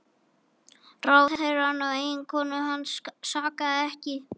Ráðherrann og eiginkonu hans sakaði ekki